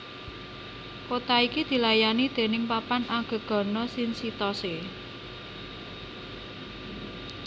Kota iki dilayani déning Papan Anggegana Shinchitose